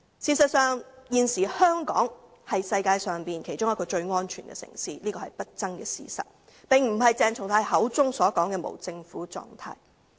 事實上，現時香港是世界上其中一個最安全的城市，這是不爭的事實，而並非如鄭松泰議員口中所說般處於無政府狀態。